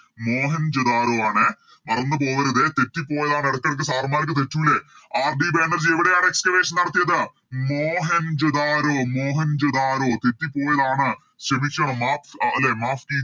മോഹൻജാതരോ ആണേ മറന്ന് പോവരുതേ തെറ്റിപ്പോയതാണ് എടക്കെടക്ക് Sir മാരിക്ക് തെറ്റൂലെ RD ബാനർജി എവിടെയാണ് Excavation നടത്തിയത് മോഹൻജാതരോ മോഹൻജാതരോ തെറ്റിപോയതാണ് ക്ഷമിച്ചോ മാഫ് അല്ലെ